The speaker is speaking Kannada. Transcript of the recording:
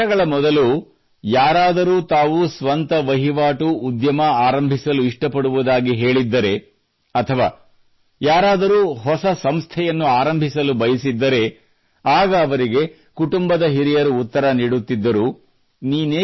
ಕೆಲವು ವರ್ಷಗಳ ಮೊದಲು ಯಾರಾದರೂ ತಾವು ಸ್ವಂತ ವಹಿವಾಟು ಉದ್ಯಮ ಆರಂಭಿಸಲು ಇಷ್ಟಪಡುವುದಾಗಿ ಹೇಳಿದ್ದರೆ ಅಥವಾ ಯಾರಾದರೂ ಹೊಸ ಸಂಸ್ಥೆಯನ್ನು ಆರಂಭಿಸಲು ಬಯಸಿದ್ದರೆ ಆಗ ಅವರಿಗೆ ಕುಟುಂಬದ ಹಿರಿಯರು ಉತ್ತರ ನೀಡುತ್ತಿದ್ದರು